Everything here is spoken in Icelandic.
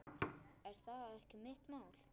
Er það ekki mitt mál?